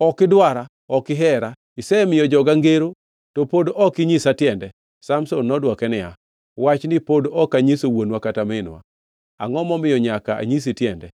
“Ok idwara! Ok ihera. Isemiyo joga ngero, to pod ok inyisa tiende.” Samson nodwoke niya, Wachni pod ok anyiso wuonwa kata minwa, “angʼo momiyo nyaka anyisi tiende?”